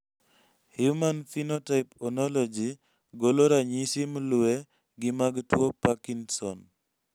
Human phenotype Onyology golo ranyisi mlue gi mag tuo parknson